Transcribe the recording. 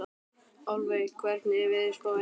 Álfey, hvernig er veðurspáin?